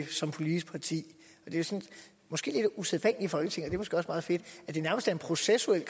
som politisk parti det er måske lidt usædvanligt i folketinget er måske også meget fedt at det nærmest er en processuel